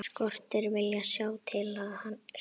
Skortir viljann til að sjá.